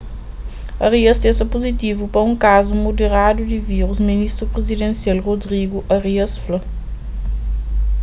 arias testa puzitivu pa un kazu muderadu di vírus ministru prizidensial rodrigo arias fla